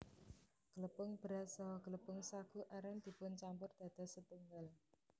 Glepung beras saha glepung sagu aren dipun campur dados setunggal